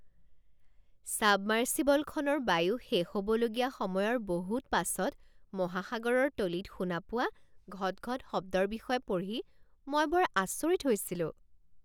ছাবমাৰ্ছিবলখনৰ বায়ু শেষ হ'বলগীয়া সময়ৰ বহুত পাছত মহাসাগৰৰ তলিত শুনা পোৱা ঘট ঘট শব্দৰ বিষয়ে পঢ়ি মই বৰ আচৰিত হৈছিলোঁ।